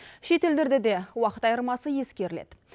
шет елдерде де уақыт айырмасы ескеріледі